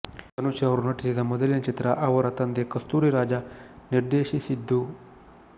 ಧನುಷ್ ರವರು ನಟಿಸಿದ ಮೊದಲನೆಯ ಚಿತ್ರ ಅವರ ತಂದೆ ಕಸ್ತೂರಿ ರಾಜ ನಿರ್ದೆಶಿಸಿದ್ದು